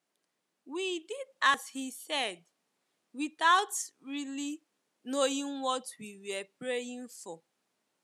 We did as he said, without really knowing what we were praying for.